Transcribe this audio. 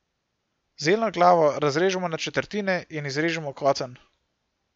Zeljno glavo razrežemo na četrtine in izrežemo kocen.